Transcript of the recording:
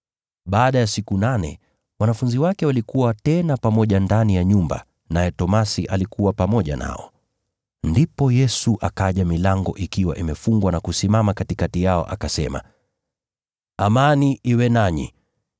Baada ya siku nane, wanafunzi wake walikuwa tena pamoja ndani ya nyumba, naye Tomaso alikuwa pamoja nao. Ndipo Yesu akaja milango ikiwa imefungwa na kusimama katikati yao akasema, “Amani iwe nanyi.”